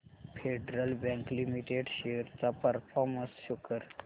federal Bank Limited shares चा performance show कर